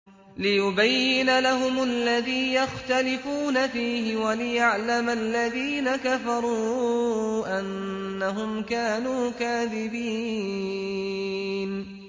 لِيُبَيِّنَ لَهُمُ الَّذِي يَخْتَلِفُونَ فِيهِ وَلِيَعْلَمَ الَّذِينَ كَفَرُوا أَنَّهُمْ كَانُوا كَاذِبِينَ